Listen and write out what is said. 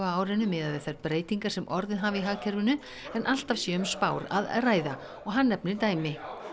á árinu miðað við þær breytingar sem orðið hafi í hagkerfinu en alltaf sé um spár að ræða og hann nefnir dæmi